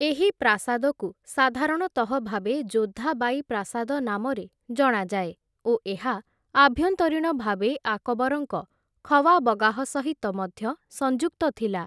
ଏହି ପ୍ରାସାଦକୁ ସାଧାରଣତଃ ଭାବେ ଜୋଧା ବାଈ ପ୍ରାସାଦ ନାମରେ ଜଣାଯାଏ, ଓ ଏହା ଆଭ୍ୟନ୍ତରୀଣ ଭାବେ ଆକବରଙ୍କ ଖୱାବଗାହ ସହିତ ମଧ୍ୟ ସଂଯୁକ୍ତ ଥିଲା ।